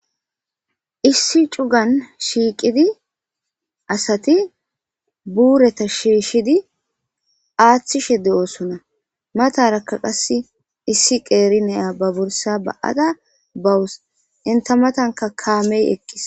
Issi cugan ciqid asat buurata shiishid athishe de'osona, mataraka qase issi qer Naya ba borsa ba'ada bawus , enta matanka kamey eqis.